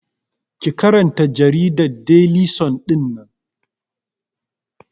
Ki karanta jaridar Deli sun ɗinnan!